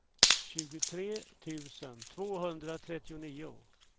tjugotre tusen tvåhundratrettionio